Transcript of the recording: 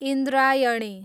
Indrayani